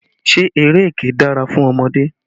Ṣé eré ẹkẹ dára fún ọmọdé?